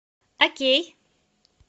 окей